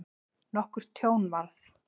Nokkurt tjón varð.